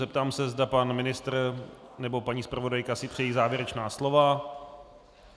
Zeptám se, zda pan ministr nebo paní zpravodajka si přejí závěrečná slova.